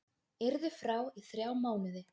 Yrði frá í þrjá mánuði